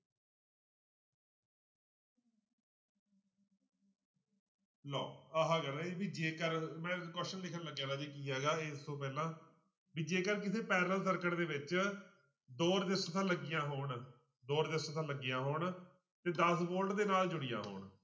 ਲਓ ਆਹ ਵੀ ਜੇਕਰ ਮੈਂ question ਲਿਖਣ ਲੱਗਿਆ ਰਾਜੇ ਕੀ ਹੈਗਾ ਇਸ ਤੋਂ ਪਹਿਲਾਂ ਵੀ ਜੇਕਰ ਕਿਸੇ parallel circuit ਦੇ ਵਿੱਚ ਦੋ ਰਸਿਸਟੈਂਸਾਂ ਲੱਗੀਆਂ ਹੋਣ, ਦੋ ਰਸਿਸਟੈਂਸਾਂ ਲੱਗੀਆਂ ਹੋਣ ਤੇ ਦਸ volte ਦੇ ਨਾਲ ਜੁੜੀਆਂ ਹੋਣ।